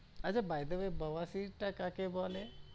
আচ্ছা by the way বাওয়া সির টা কাকে বলে?